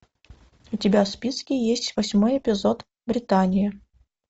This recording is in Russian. у тебя в списке есть восьмой эпизод британия